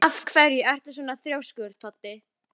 Heldur þú þá að mér finnist til mikils barist?